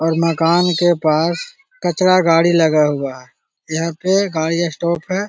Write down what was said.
और मकान के पास कचरा गाड़ी लगा हुआ है यहां पर गाड़ी स्टॉप है।